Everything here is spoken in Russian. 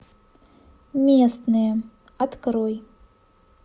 местные открой